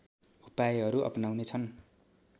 उपायहरू अपनाउने छन्